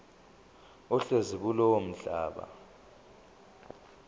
ohlezi kulowo mhlaba